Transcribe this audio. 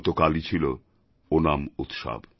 গতকালই ছিল ওনাম উৎসব